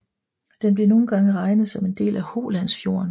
Den bliver nogle gange regnet som en del af Holandsfjorden